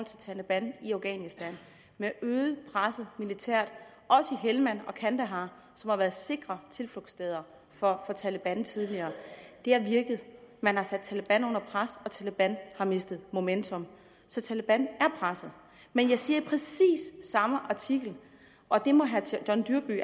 taleban i afghanistan med at øge presset militært også i helmand og kandahar som har været sikre tilflugtssteder for taleban tidligere har virket man har sat taleban under pres og taleban har mistet momentum så taleban er presset men jeg siger i præcis samme artikel og det må herre john dyrby